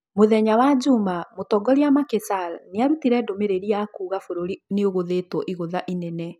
Mũthenya wa juma, mũtongoria Macky Sall nĩarutire ndũmĩrĩri ya kuuga bũrũri nĩũgũthĩtwo igũtha inene